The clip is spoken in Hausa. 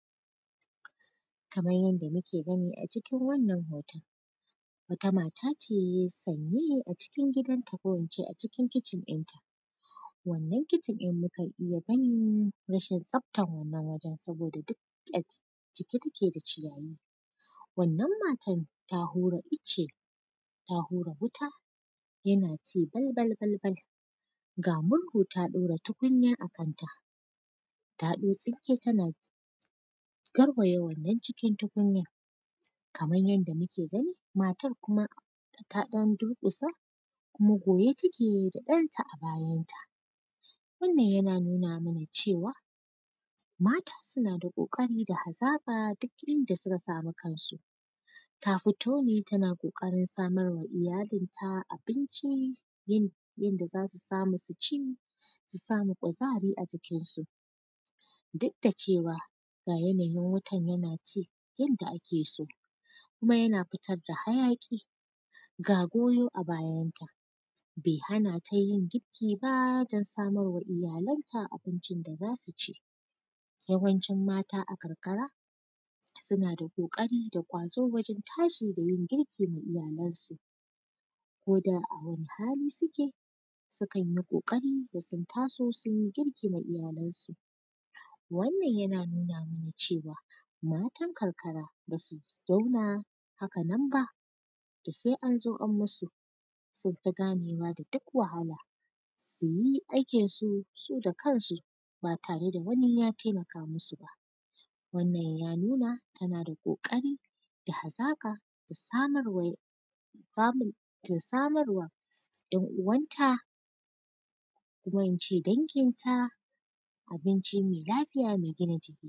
Kaman yanda muke gani a cikin wannan hoton, wata mata ce ye; sanmiyo a cikin gidanta ko in ce a cikin kicin ɗinta. Wannan kicin ɗin, mukan iya ganin rashin tsaftan wannan wajen, saboda dik ak cike take da ciyayi. Wannan matan, ta hura ice, ta hura wuta, yana ci balbal-balbal, ga murhu ta ɗaura tukunya a kanta, ta ɗau tsinke tana garbaya wannan cikin tukunyan. Kaman yanda muke gani, matar kuma, ta ɗan durƙusa kuma goye take da ɗanta a bayanta. Wannan, yana nuna mana cewa, mata suna da ƙoƙari da hazaƙa duk inda suka samu kansu. Ta fito ne tana ƙoƙarin samar wa iyalinta abincin yin; yin da za su samu su ci, su samu kuzari a jikinsu. Duk da cewa, ga yanayin wutan yana ci yanda ake so, kuma yana fitad da hayaƙi, ga goyo a bayanta. Be hana ta yin girki ba, don samar wa iyalanta abincin da za su ci. Yawancin mata a karkara, suna da ƙoƙari da ƙwazo wajen tashi da yin girki ma iyalansu. Ko da a wani hali sike, sukan yi ƙoƙari da sun taso, sun yi girki ma iyalansu. Wannan, yana nuna mana cewa, matan karkara, ba su zauna haka nan ba, da sai an zo an musu. Sun fi ganewa da duk wahala, su yi aikinsu su da kansu, ba tare da wani ya temaka musu ba. Wannan, ya nuna tana da ƙoƙari da hazaƙa da samar wa, samun, ta samar wa ‘yan uwanta kuma in ce danginta, abinci me lafiya, me gina jiki.